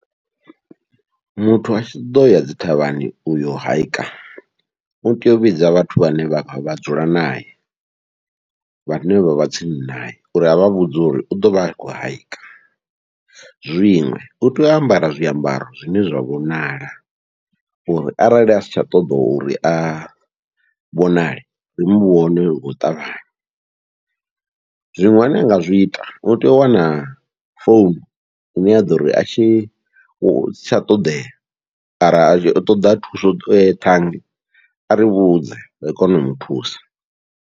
Muthu atshi ṱoḓo ya dzi thavhani uyo haika utea u vhidza vhathu vhane vha dzula nae, vhane vha vha tsini naye uri avha vhudze uri u ḓovha a khou hike, zwiṅwe utea u ambara zwiambaro zwine zwa vhonala uri arali asi tsha ṱoḓa uri a vhonale ri muvhone ngau ṱavhanya, zwiṅwe anga zwi ita utea u wana founu ine ya ḓori asi tsha ṱoḓea ara atshi ṱoḓa thuso ṱhangi ari vhudze ri kone u muthusa.